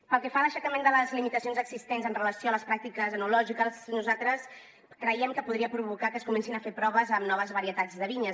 pel que fa a l’aixecament de les limitacions existents amb relació a les pràctiques enològiques nosaltres creiem que podria provocar que es comencessin a fer proves amb noves varietats de vinyes